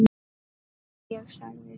Já, ég sagði það.